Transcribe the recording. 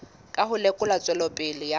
ka ho lekola tswelopele ya